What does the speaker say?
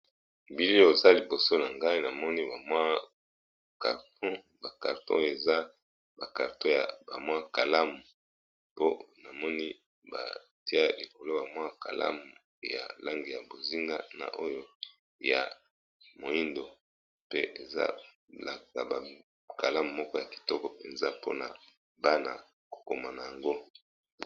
Na bilili oyo eza carton ya ba bic to kalamu, langi ya bozinga na moindo.